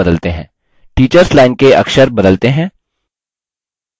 teachers line के अक्षर बदलते हैं!